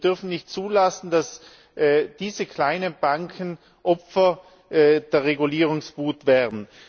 Wir dürfen nicht zulassen, dass diese kleinen Banken Opfer der Regulierungswut werden.